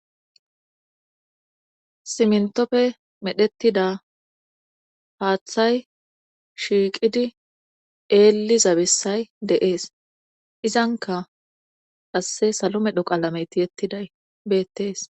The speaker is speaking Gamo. Simentoppe medhettida haaththay shiiqidi eeli zabessay deees izanka qasse salo medho qaalameyti yettiday beettees